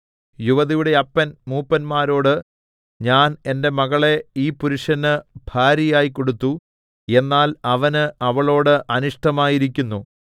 യുവതിയുടെ അപ്പൻ മൂപ്പന്മാരോട് ഞാൻ എന്റെ മകളെ ഈ പുരുഷന് ഭാര്യയായി കൊടുത്തു എന്നാൽ അവന് അവളോടു അനിഷ്ടമായിരിക്കുന്നു